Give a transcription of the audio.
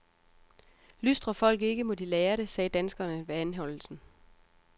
Lystrer folk ikke, må de lære det, sagde danskeren ved anholdelsen.